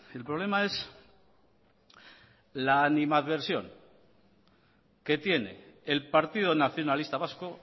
el problema es la animadversación que tiene el partido nacionalista vasco